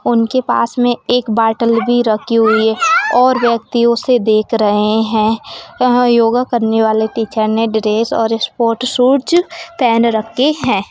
उनके पास में एक बोतल भी रखी हुई है और व्यक्ति उसे देख रहें हैं यह योगा करने वाले टीचर ने ड्रेस और स्पोर्ट शूज पहन रखे हैं।